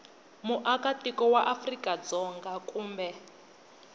muakatiko wa afrika dzonga kumbe